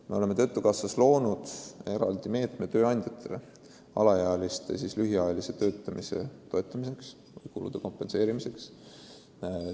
Me oleme loonud töötukassas eraldi meetme tööandjatele alaealiste lühiajalise töötamise toetamiseks, nende kulude kompenseerimiseks.